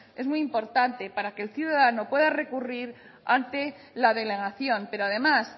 es muy importante para que el ciudadano pueda recurrir ante la delegación pero además